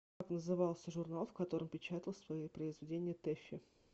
как назывался журнал в котором печатала свои произведения тэффи